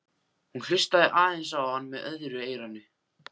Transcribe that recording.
Hún hlustaði aðeins á hann með öðru eyranu.